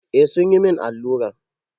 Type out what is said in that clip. Eh sun yi min alluran.